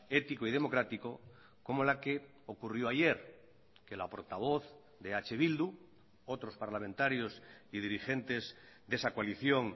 ético y democrático como la que ocurrió ayer que la portavoz de eh bildu otros parlamentarios y dirigentes de esa coalición